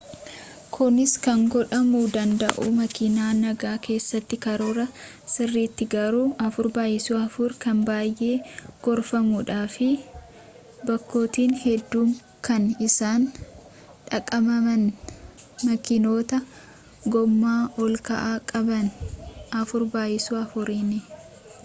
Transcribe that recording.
kunis kan godhamu danda’u makiina nagaa keessatti karoora sirriitin garuu 4x4 kan baayee gorfamuu dha fi bakkotni hedduun kan isaan dhaqabaman makiinota gooma ol ka’oo qaban 4x4’ni